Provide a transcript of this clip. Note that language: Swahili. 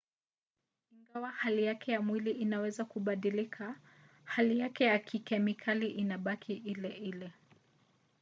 ingawa hali yake ya mwili inaweza kubadilika hali yake ya kikemikali inabaki ile ile